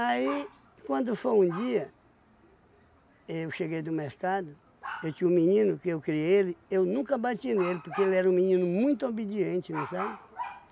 quando foi um dia, eu cheguei do mercado, eu tinha um menino que eu criei ele, eu nunca bati nele, porque ele era um menino muito obediente, não sabe?